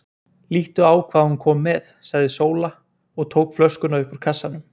Líttu á hvað hún kom með, sagði Sóla og tók flöskuna upp úr kassanum.